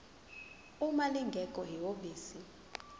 uma lingekho ihhovisi